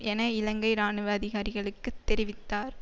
என இலங்கை இராணுவ அதிகாரிகளுக்கு தெரிவித்தார்